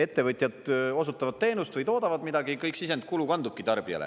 Ettevõtjad osutavad teenust või toodavad midagi, kõik sisendkulu kandubki tarbijale.